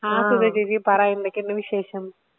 ആ സുധ ചേച്ചി പറ എന്തൊക്കെയുണ്ട് വിശേഷം?